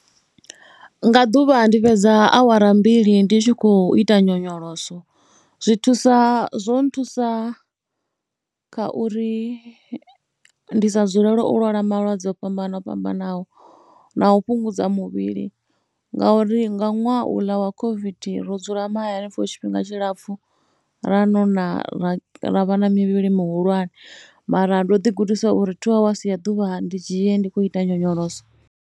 Nga ḓuvha ndi fhedza awara mbili ndi tshi khou ita nyonyoloso. Zwi thusa, zwo nthusa kha uri ndi sa dzulele u lwala malwadze o fhambana fhambanaho na u fhungudza muvhili ngauri nga ṅwaha uḽa wa COVID ro dzula mahaya for tshifhinga tshilapfhu. Ra nona ra ra vha na mivhili mihulwane mara ndo ḓigudisa uri thuu awasi ya ḓuvha ndi dzhie ndi khou ita nyonyoloso.